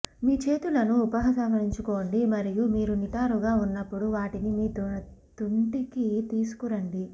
మీ చేతులను ఉపసంహరించుకోండి మరియు మీరు నిటారుగా ఉన్నప్పుడు వాటిని మీ తుంటికి తీసుకురండి